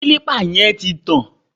Kílípà yẹn ti tàn